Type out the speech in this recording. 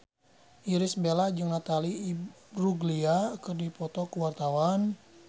Irish Bella jeung Natalie Imbruglia keur dipoto ku wartawan